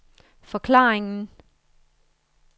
forklaringen